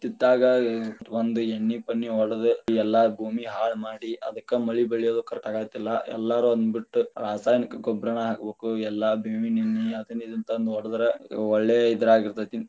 ಇತ್ತಿತ್ತಗ ಒಂದ ಎಣ್ಣಿ ಪಣ್ಣಿ ಹೊಡದ ಎಲ್ಲಾ ಭೂಮಿ ಹಾಳ ಮಾಡಿ ಅದಕ್ಕ ಮಳಿ ಬೆಳಿಯದು correct ಆಗತಿಲ್ಲಾ, ಎಲ್ಲರು ಅದನ್ನ ಬಿಟ್ಟು ರಾಸಾಯನಿಕ ಗೊಬ್ಬರನ ಹಾಕಬೇಕು ಇಲ್ಲಾ ಬೇವಿನ ಎಣ್ಣಿ ಅದನ್ನ ಇದನ್ನ ತಂದ ಹೊಡದ್ರ ಒಳ್ಳೆ ಇದ್ರಾಗ ಇರತೇತಿ.